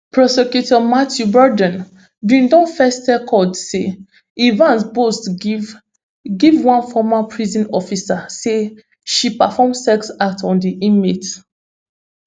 prosecutor matthew burdon bin don first tell court say evans boast give give one former prison officer say she perform sex act on di inmate